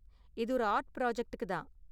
இது ஒரு ஆர்ட் ப்ராஜக்ட்டுக்கு தான்.